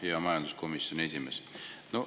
Hea majanduskomisjoni esimees!